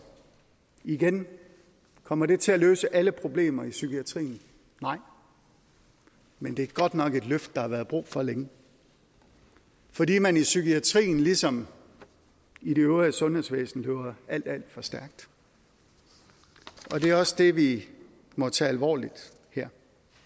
igen kommer det til at løse alle problemer psykiatrien nej men det er godt nok et løft der har været brug for længe fordi man i psykiatrien ligesom i det øvrige sundhedsvæsen løber alt alt for stærkt det er også det vi må tage alvorligt her